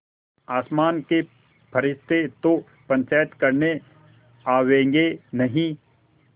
आसमान के फरिश्ते तो पंचायत करने आवेंगे नहीं